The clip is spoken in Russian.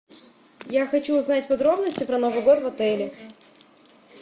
я хочу узнать подробности про новый год в отеле